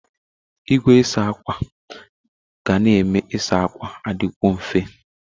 Igwe na-asa ákwà ga na-eme ịsa ákwà adịkwo mfe.